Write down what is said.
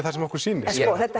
það sem okkur sýnist þetta